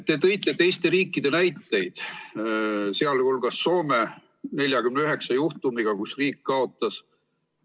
Te tõite teiste riikide näiteid, sh Soome 49 juhtumiga, kus riik kaotas.